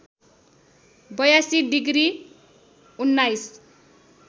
८२ degree १९